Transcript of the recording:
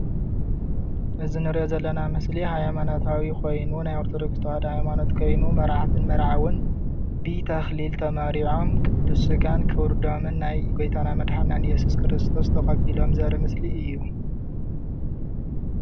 እዚ እንሪኦ ዘለና ምስሊ ሃይማኖታዊ ኮይኑ ናይ ኦርቶዶክስ ተዋህዶ ሃይማኖት ኮይኑ መርዓትን መርዓውን ብተክሊል ተመርዕዮም ቅዱስ ስጋን ክቡር ደሙን ናይ ጎይታና መድሓኒትና እየሱስ ክርስቶስ ተቀቢሎም ዘርኢ ምስሊ እዩ፡፡